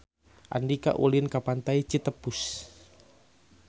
Andika ulin ka Pantai Citepus